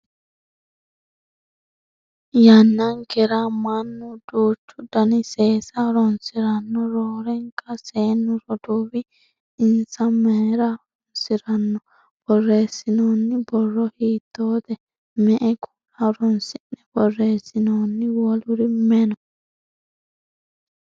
yannankera mannu duuchu dani seesa horonsiranno roorenka seennu roduuwi, insa mayeera horonsiranno? borreessinoonni borro hiittoote? me"e kuula horonsi'ne borreessinooni? woluri mayi no?